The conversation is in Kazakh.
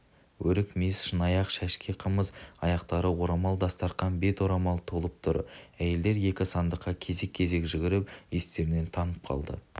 өрік-мейіз шыны-аяқ-шәшке қымыз аяқтары орамал-дастарқан бет орамал толып тұр әйелдер екі сандыққа кезек-кезек жүгіріп естерінен танып қалды